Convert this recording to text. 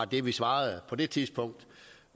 det vi svarede på det tidspunkt